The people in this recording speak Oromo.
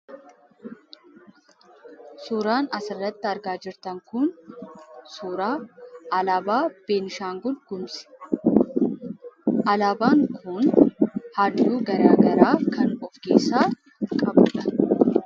Suuraan asirratti argaa jirtan kun suuraa alaabaa Beenshaangul Gumuuz. Alaabaan kun halluu garagaraa kan of keessaa qabudha.